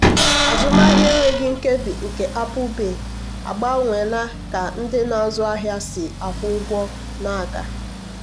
azụmahịa enweghị nkebi nke apple pay agbanweela ka ndị na-azụ ahịa si akwụ ụgwọ na-aga.